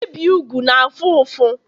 ibi úgwù na-afụ ụfụ